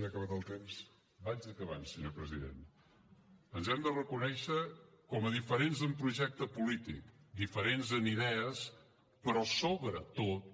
vaig acabant senyor president ens hem de reconèixer com a diferents en projecte polític diferents en idees però sobretot